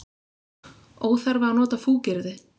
Óþarfi að nota fúkyrði.